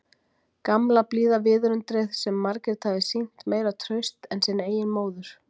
Gamla, blíða viðundrið sem Margrét hafði sýnt meira traust en sinni eigin móður.